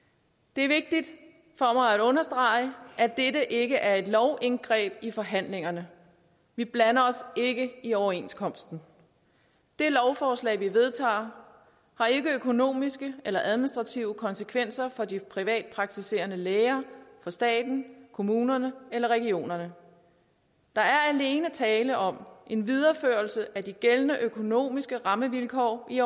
det er vigtigt for mig at understrege at dette ikke er et lovindgreb i forhandlingerne vi blander os ikke i overenskomsten det lovforslag vi vedtager har ikke økonomiske eller administrative konsekvenser for de privatpraktiserende læger staten kommunerne eller regionerne der er alene tale om en videreførelse af de gældende økonomiske rammevilkår i